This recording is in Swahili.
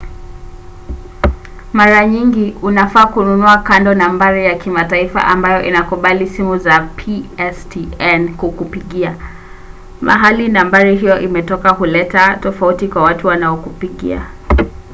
mara nyingi unafaa kununua kando nambari ya kimataifa ambayo inakubali simu za pstn kukupigia. mahali nambari hiyo imetoka huleta tofauti kwa watu wanaokupigia